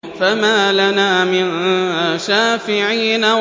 فَمَا لَنَا مِن شَافِعِينَ